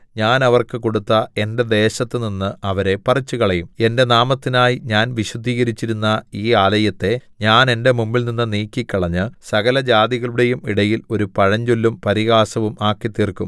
ഞാൻ അവർക്ക് കൊടുത്ത എന്റെ ദേശത്തുനിന്ന് അവരെ പറിച്ചുകളയും എന്റെ നാമത്തിനായി ഞാൻ വിശുദ്ധീകരിച്ചിരിക്കുന്ന ഈ ആലയത്തെ ഞാൻ എന്റെ മുമ്പിൽനിന്നു നീക്കിക്കളഞ്ഞ് സകലജാതികളുടെയും ഇടയിൽ ഒരു പഴഞ്ചൊല്ലും പരിഹാസവും ആക്കിത്തീർക്കും